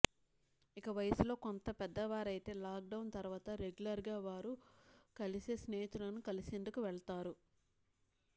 ఇక వయసులో కొంత పెద్దవారైతే లాక్ డౌన్ తర్వాత రెగ్యులర్ గా వారు కలిసే స్నేహితులను కలిసేందుకు వెళతారు